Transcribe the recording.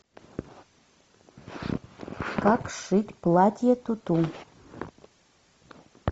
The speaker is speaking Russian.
как сшить платье туту